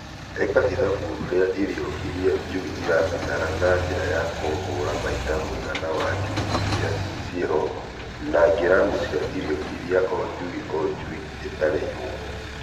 Ika ithabu rĩa irio iria njui irabatara na njira ya kũhũra maita mũigana wa njui iria ciĩho na ngiramu cia irio iria o njui o njui ĩtarĩirwo.